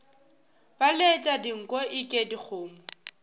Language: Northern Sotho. ba letša dinko eke dikgomo